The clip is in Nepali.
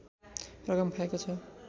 रकम खाएको छ